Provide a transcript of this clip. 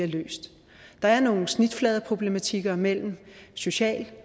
løst der er nogle snitfladeproblematikker mellem det sociale